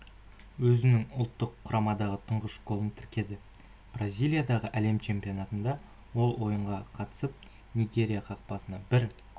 өзінің ұлттық құрамадағы тұңғыш голын тіркеді бразилиядағы әлем чемпионатында ол ойынға қатысып нигерия қақпасына бір